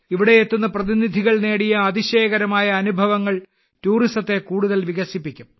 ഇവിടെയെത്തുന്ന പ്രതിനിധികൾ നേടിയ അതിശയകരമായ അനുഭവങ്ങൾ ടൂറിസത്തെ കൂടുതൽ വികസിപ്പിക്കും